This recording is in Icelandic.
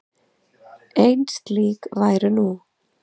Ein slík væru nú.